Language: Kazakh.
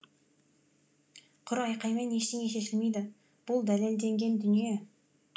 құр айқаймен ештеңе шешілмейді бұл дәлелденген дүние